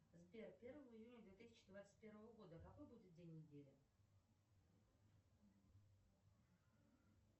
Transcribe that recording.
сбер первого июня две тысячи двадцать первого года какой будет день недели